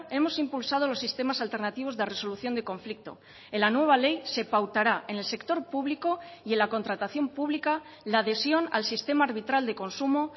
hemos impulsado los sistemas alternativos de resolución de conflicto en la nueva ley se pautará en el sector público y en la contratación pública la adhesión al sistema arbitral de consumo